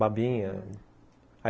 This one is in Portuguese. Babinha.